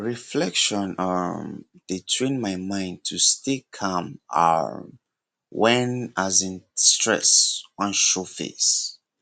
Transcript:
reflection um dey train my mind to stay calm um when as in stress wan show face